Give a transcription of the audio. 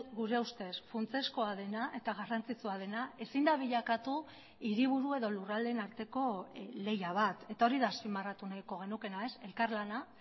gure ustez funtsezkoa dena eta garrantzitsua dena ezin da bilakatu hiriburu edo lurraldeen arteko lehia bat eta hori da azpimarratu nahiko genukeena ez elkarlana